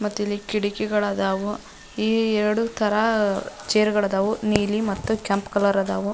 ಮತ್ತಿಲ್ಲಿ ಕಿಟ್ಕಿಗಳದಾವು ಏಳು ತರ ಚೇರ್ ಗಳದಾವು ನೀಲಿ ಮತ್ತು ಕೆಂಪು ಕಲರ್ ಅದಾವು.